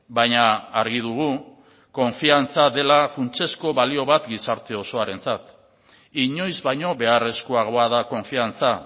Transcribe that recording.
baina argi dugu konfiantza dela funtsezko balio bat gizarte osoarentzat inoiz baino beharrezkoagoa da konfiantza